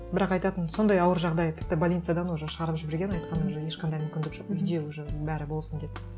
бірақ айтатын сондай ауыр жағдай тіпті больницадан уже шығарып жіберген айтқан уже ешқандай мүмкіндік жоқ үйде уже бәрі болсын деп